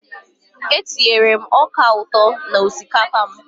Eé, etinyere m ọka ụtọ n'osikapa a.